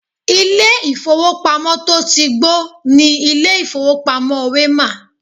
Ilé ìfowópamọ́ to tí gbó ni ilé ìfowópamọ́ Wema.